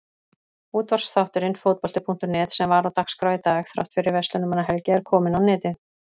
Útvarpsþátturinn Fótbolti.net sem var á dagskrá í dag þrátt fyrir Verslunarmannahelgi er kominn á netið.